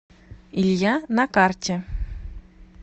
илья на карте